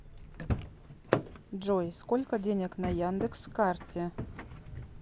джой сколько денег на яндекс карте